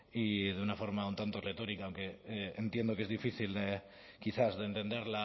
y de una forma un tanto retórica aunque entiendo que es difícil quizás de entender